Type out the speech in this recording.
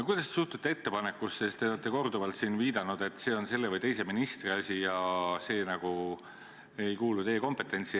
Te olete korduvalt siin viidanud, et see on selle või teise ministri asi ja vastamine nagu ei kuulu teie kompetentsi.